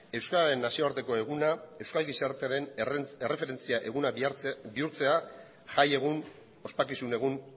euskararen nazioarteko eguna euskal gizartearen erreferentzia eguna bihurtzea jai egun ospakizun egun